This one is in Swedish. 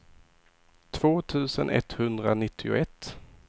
två tusen etthundranittioett